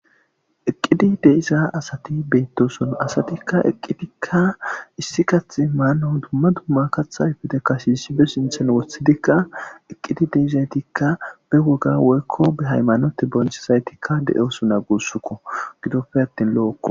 eqqidi deiza asati beettoson asatikka eqqidikka issi kathi maano dumma dumma kathayfete kasishi be sinthen wothidikka eqqidi deizaytikka be woga woykko behaymanote bonchesaytikka de7osuna guussukko gidoppe attin lo7okko